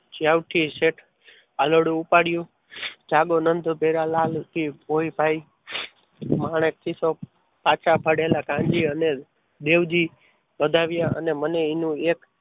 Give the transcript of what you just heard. સૌથી શેઠ આગળ ઉપાડ્યું જાગો નંદ ઘેર લાલ કે કોઈ ભાઈ માણેકથી સૌ પાછા પડેલા કાનજી અને દેવજી પધાર્યા અને મનુ એને એક